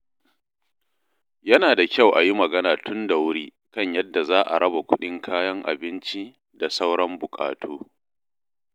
Yana da kyau a yi magana tun da wuri kan yadda za a raba kuɗin kayan abinci da sauran buƙatu.